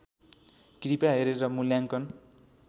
कृपया हेरेर मुल्याङ्कन